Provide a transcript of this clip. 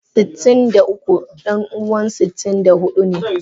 Sitin da uku danuwan sitin da hudu ne.